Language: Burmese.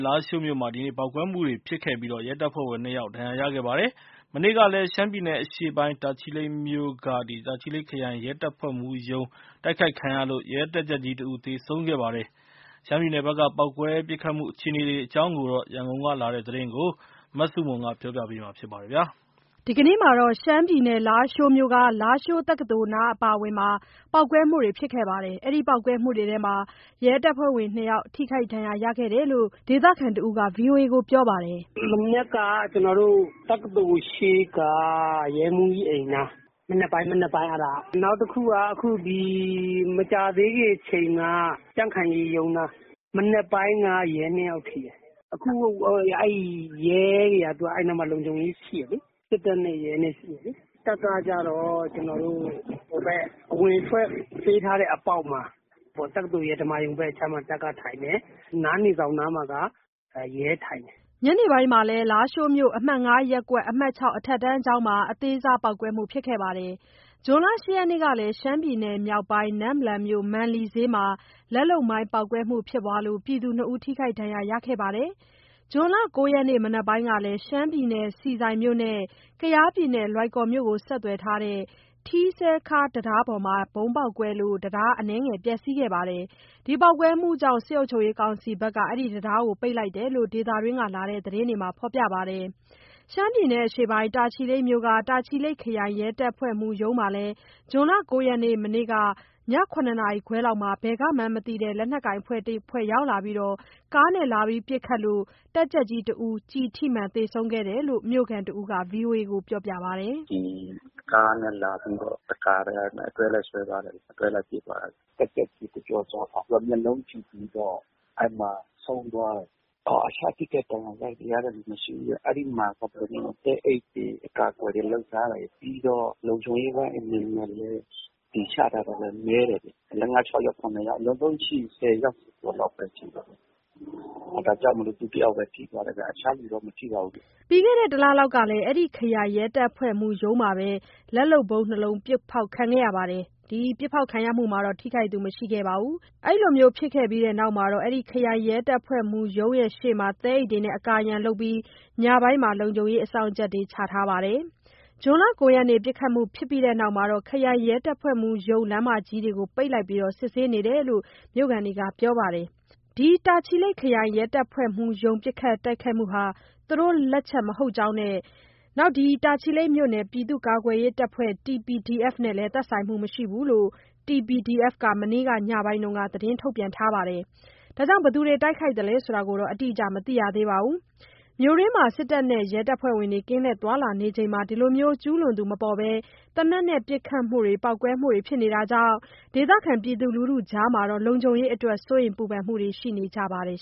လားရှိုးမြို့မှာ ဒီနေ့ ပေါက်ကွဲမှုတွေဖြစ်ခဲ့ပြီး ရဲတပ်ဖွဲ့ဝင် နှစ်ယောက် ဒဏ်ရာရခဲ့ပါတယ်။ မနေ့ကလည်း ရှမ်းပြည်နယ်အရှေ့ပိုင်း တာချီလိတ်မြို့က တာချီလိတ်ခရိုင် ရဲတပ်ဖွဲ့မှူးရုံး တိုက်ခိုက်ခံရလို့ ရဲတပ်ကြပ်ကြီးတဦး သေဆုံးခဲ့ပါတယ်။ ရှမ်းပြည်နယ်ဘက်က ပေါက်ကွဲ ပစ်ခတ်မှု ခြေအနေတွေအကြောင်း ရန်ကုန်ကလာတဲ့သတင်းကို မဆုမွန်ကပြောပြပါမယ်။ ရှမ်းပြည်နယ် လားရှိုးတက္ကသိုလ်နားအပါအဝင် ပေါက်ကွဲမှုတွေဖြစ်ခဲ့လို့ ရဲတပ်ဖွဲ့ဝင် နှစ်ယောက် ထိခိုက်ဒဏ်ရာရခဲ့တယ်လို့ ဒေသခံတဦးက ဗွီအိုအေကိုပြောပါတယ်။ “မနက်က ကျနော်တို့ တက္ကသိုလ်ရှေ့က ရဲမှူးကြီးအိမ်နား (ပေါက်ကွဲ) မနက်က အဲ့ဒါက။ နောက်တစ်ခုက အခု ဒီမကြာသေးခင်အချိန်က ကြံ့ခိုင်ရေးရုံးနား(ပေါက်ကွဲ)။ မနက်ပိုင်းက ရဲနှစ်ယောက်ထိတယ်။ အခုအဲ့ရဲတွေက အဲ့နားမှာ လုံခြုံရေးရှိတယ်လေး၊ စစ်တပ်နဲ့ရဲနဲ့ရှိတယ်လေ၊ တပ်ကကျတော့ ကျနော်တို့ ဟိုဘက် အဝင်အထွက်ပေးထားတဲ့မှာပေါ့ တက္ကသိုလ်ရဲ့ ဓမ္မာရုံဘက်အခြမ်းမှာ တပ်က ထိုင်တယ်၊ နားနေဆောင်နားမှာက ရဲထိုင်တယ်။” ညနေပိုင်းကလည်း လားရှိုးမြို့ အမှတ် ၅ ရပ်ကွက်၊ အမှတ် ၆ အထက်တန်းကျောင်းမှာ အသေးစားပေါက်ကွဲမှုဖြစ်ခဲ့ပါတယ်။ ဇွန် ၈ ရက်နေ့ကလည်း ရှမ်းပြည်နယ်မြောက်ပိုင်း နမ့်လန်မြို့ မန်လီဈေးမှာ လက်လုပ်မိုင် ပေါက်ကွဲမှုဖြစ်ပွားလို့ ပြည်သူနှစ်ဦး ထိခိုက်ဒဏ်ရာရခဲ့ပါတယ်။ ဇွန်လ ၉ ရက်နေ့ မနက်ပိုင်းကလည်း ရှမ်းပြည်နယ် ဆီဆိုင်မြို့နဲ့ ကယားပြည်နယ် လွိုင်ကော်မြို့ ဆက်သွယ်ထားတဲ့ ထီးစဲခါးတံတားပေါ်မှာ ဗုံးပေါက်ကွဲလို့ တံတား အနည်းငယ်ပျက်စီးသွားပါတယ်။ ပေါက်ကွဲမှုကြောင့် စစ်ကောင်စီက အဲဒီတံတားကို ပိတ်လိုက်တယ်လို့ ဒေသတွင်းကလာတဲ့ သတင်းတွေမှာ ဖော်ပြထားပါတယ်။ ရှမ်းပြည်နယ်အရှေ့ပိုင်း တာချီလိတ်မြို့က တာချီလိတ်ခရိုင် ရဲတပ်ဖွဲ့မှူးရုံးမှာလည်း ဇွန်လ ၉ ရက် မနေ့က ည ၇ နာရီခွဲလောက်မှ ဘယ်ကမှန်းမသိတဲ့ လက်ကိုင်အဖွဲ့တစ်ခုက ကားနဲ့လာပြီး ပစ်ခတ်ခံရလို့ တပ်ကြပ်ကြီးတစ်ဦး ကျည်ထိမှန်သေဆုံးခဲ့တယ်လို့ မြို့ခံတစ်ဦးက ဗွီအိုအေကို ပြောပါတယ်။ “ဒီကားနဲ့ လာပြီးတော့ တစ်ခါတည်း အဲ့မှာ အတွဲလိုက်ဆွဲသွားတယ်ဗျ၊ အတွဲလိုက်ပစ်သွားတယ်၊ တပ်ကြပ်ကြီး ကိုကျော်စွာအောင် သူက မျက်လုံးထိပြီးတော့ အဲ့မှာ ဆုံးသွားတယ်၊ အခြားထိခိုက်ဒဏ်ရာရသူကတော့ မရှိဘူးဗျ၊ အဲ့ဒီမှာ သဲအိတ်တွေ အကာအကွယ်တွေလုပ်ထားတယ်၊ ပြီးတော့ လုံခြုံရေးပိုင်းအနေနဲ့လည်း ဒီချထားတာ နည်းတယ်ဗျ၊ ၄၊ ၅၊ ၆ ယောက် ၇ ယောက် အလွန်ဆုံးရှိတာ ၁၀ ယောက်ကျော်ကျော်လောက်ပဲရှိတာ ဒါကြောင့်မို့လို့ သူတယောက်ပဲ ထိတာဗျ၊ အခြားလူတော့ မထိပါဘူးဗျ။” ပြီးခဲ့တဲ့တလလောက်က အဲ့ဒီခရိုင်ရဲတပ်ဖွဲ့မှူးရုံးမှာပဲ လက်လုပ်ဗုံးနှစ်လုံး ပစ်ဖောက်ခံခဲ့ရပြီး ထိခိုက်သူတော့ မရှိပါဘူး။ အဲ့လိုဖြစ်ပြီးနောက် ရုံးရှေ့မှာ သဲအိတ်တွေနဲ့ အကာအရံလုပ်ပြီး ညပိုင်းမှာ လုံခြုံရေးအစောင့်ချထားတာပါ။ ဇွန်လ ၉ ရက် ပစ်ခတ်မှုဖြစ်ပြီးနောက် ခရိုင်ရဲတပ်ဖွဲ့မှူးရုံးရှေ့ လမ်းမကြီးတွေ ပိတ်ထားပြီး စစ်ဆေးနေတယ်လို့ မြို့ခံတွေက ပြောပါတယ်။ တာချီလိတ်ခရိုင်ရဲတပ်ဖွဲ့မှူးရုံး ပစ်ခတ်တိုက်ခိုက်မှုဟာ သူတို့လက်ချက် မဟုတ်ဘဲ တာချီလိတ်မြို့နယ် ပြည်သူ့ကာကွယ်ရေးတပ်ဖွဲ့ TPDF နဲ့ သက်ဆိုင်မှုမရှိဘူးလို့ TPDF က မနေ့ကညပိုင်းမှာ သတင်းထုတ်ပြန်ထားပါတယ်။ ဘယ်သူတွေ တိုက်ခိုက်သလဲဆိုတာတော့ အတိအကျ မသိရသေးပါဘူး။ မြို့တွင်းတွေမှာ စစ်တပ်နဲ့ ရဲတွေ ကင်းလှည့်သွားလာနေချိန် ဒီလိုကျူးလွန်သူမပေါ်တဲ့ သေနတ်နဲ့ ပစ်ခတ်မှုတွေ၊ ပေါက်ကွဲမှုတွေဖြစ်နေတာကြောင့် ပြည်သူလူထုကြား လုံခြုံရေးအတွက် စိုးရိမ်ပူပန်မှုတွေ ရှိနေကြပါတယ်